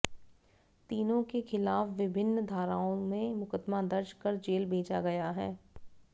तीनों के खिलाफ विभिन्न धाराओं में मुकदमा दर्ज कर जेल भेजा गया है